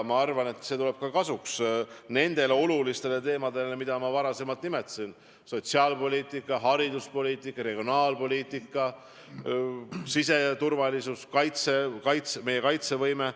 Ma arvan, et kasuks tulevad ka arutelud nendel olulistel teemadel, mida ma juba nimetasin – sotsiaalpoliitika, hariduspoliitika, regionaalpoliitika, siseturvalisus, meie kaitsevõime.